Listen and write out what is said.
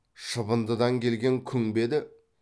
шыбындыдан келген күң бе еді